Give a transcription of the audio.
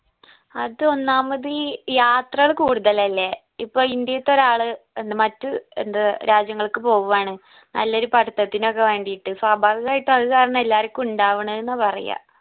അത് ഒന്നാമത് ഈ യാത്രകള് കൂടുതൽ അല്ലെ ഇപ്പൊ ഇന്ത്യത്തെ ഒരാളെ എന്ത് മറ്റ് എന്ത് രാജ്യങ്ങൾക്ക് പോവുവാണ് നല്ലൊരു പഠിത്തത്തിനൊക്കെ വേണ്ടിയിട്ട് സ്വാഭാവികയിട്ട് അത് കാരണം എല്ലാരിക്കും ഇടവണിന്ന പറയാ